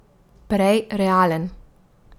Prej realen.